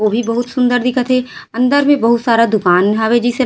उ भी बहुत सुन्दर दिखत हे अंदर में बहुत सारा दूकान हावे जिसे ल --